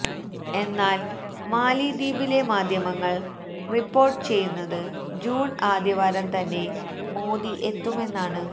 എന്നാല് മാലിദ്വീപിലെ മാധ്യമങ്ങള് റിപ്പോര്ട്ട് ചെയ്യുന്നത് ജൂണ് ആദ്യവാരം തന്നെ മോദി എത്തുമെന്നാണ്